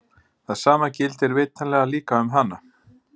Það sama gildir vitanlega líka um hana!